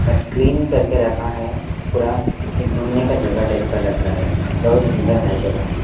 But clean करके रखा है पूरा एक घूमने का जगह टाइप का लग रहा है बहुत सुंदर है जगह।